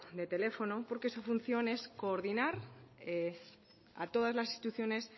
de teléfono porque su función es coordinar a todas las instituciones